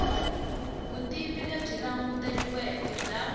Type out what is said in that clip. vutivi lebyi languteriweke bya